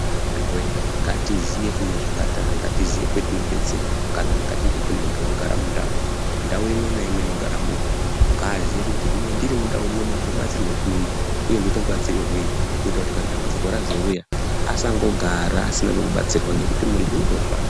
Amuna ngatizive kune zvipatara ngatizive kune zvibhedhlera sekuti muntu anegere mundau ,ndau imwe naimwe ine kuno batsirwa antu ngazive kuti ndiri mundau ino ndinobatsirwa kupi Uye ndoita mubatsirirwe kuitira kuti dambudziko razouya asangogara asina kwekubatsirwa ngokuti muntu unofa.